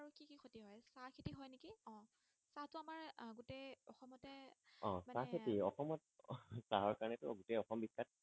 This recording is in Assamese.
আহ মানে চাহ খেতি অসমত চাহৰ কাৰণেটো গোটেই অসম বিখ্যাত